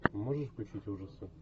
можешь включить ужасы